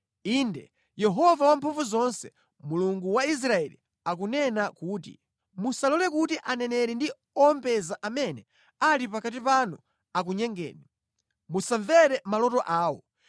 Inde, Yehova Wamphamvuzonse, Mulungu wa Israeli akunena kuti, “Musalole kuti aneneri ndi owombeza amene ali pakati panu akunyengeni. Musamvere maloto awo.